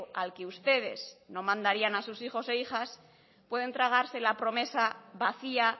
al que ustedes no mandarían a sus hijos e hijas pueden tragarse la promesa vacía